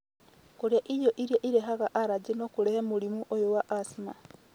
Na kũrĩa irio iria irehaga aragĩ no kũrehe mũrimũ ũyũ wa asthma